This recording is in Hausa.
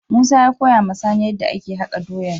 Musa ya koya ma sani yadda ake haka doyan.